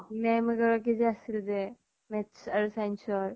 Ma'am এগৰাকী সে আছিল যে? math আৰু science ৰ?